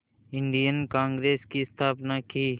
Indian Congress की स्थापना की